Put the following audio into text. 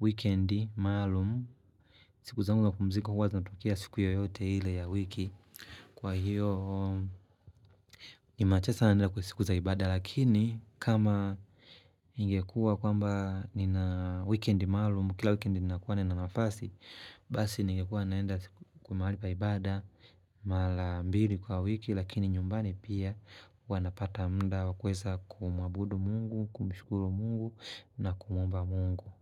weekendi, maalumu, siku zangu na kupumzika huwa zinatokea siku yoyote ile ya wiki. Kwa hiyo, ni machache sana kuenda kwa siku za ibada. Lakini, kama ningekua kwamba nina weekendi maalumu, kila weekendi nina kuwa na mafasi, basi ningekua naenda kwa mahali paibada, mara mbili kwa wiki, Lakini nyumbani pia wanapata mda wa kweza kumuabudu mungu, kumshukuru mungu na kumomba mungu.